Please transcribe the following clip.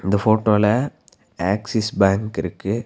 இந்த போட்டோல Axis bank இருக்கு.